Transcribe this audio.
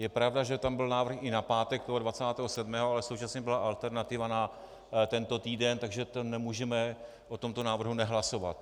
Je pravda, že tam byl návrh i na pátek toho 27., ale současně byla alternativa na tento týden, takže nemůžeme o tomto návrhu nehlasovat.